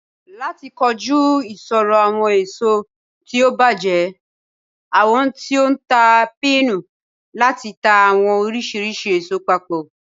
Lati koju iṣoro awọn eso ti o bajẹ, awọn ti o ntaa pinnu lati ta awọn oriṣiriṣi eso papọ.